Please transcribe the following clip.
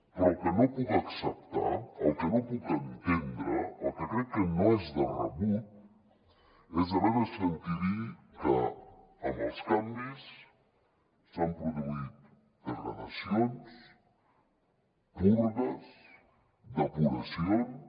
però el que no puc acceptar el que no puc entendre el que crec que no és de rebut és haver de sentir dir que amb els canvis s’han produït degradacions purgues depuracions